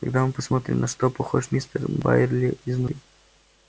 тогда мы посмотрим на что похож мистер байерли изнутри